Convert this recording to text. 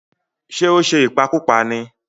Ṣé ó ṣe ìpakúpa ní?